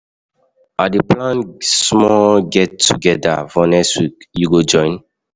I dey plan small get-together for next week, you go join?